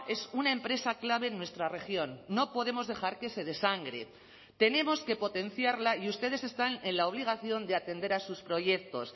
es una empresa clave en nuestra región no podemos dejar que se desangre tenemos que potenciarla y ustedes están en la obligación de atender a sus proyectos